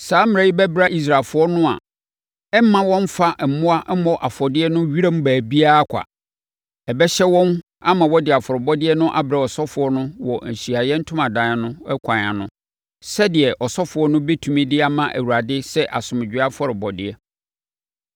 Saa mmara yi bɛbra Israelfoɔ no a ɛremma wɔmfa mmoa mmɔ afɔdeɛ wɔ wiram baabiara kwa. Ɛbɛhyɛ wɔn ama wɔde afɔrebɔdeɛ no abrɛ ɔsɔfoɔ no wɔ Ahyiaeɛ Ntomadan no kwan ano sɛdeɛ ɔsɔfoɔ no bɛtumi de ama Awurade sɛ asomdwoeɛ afɔrebɔdeɛ.